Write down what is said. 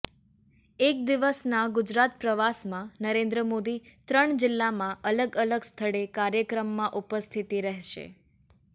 એક દિવસના ગુજરાત પ્રવાસમાં નરેન્દ્ર મોદી ત્રણ જિલ્લામાં અલગ અલગ સ્થળે કાર્યક્રમમાં ઉપસ્થિતિ રહેશે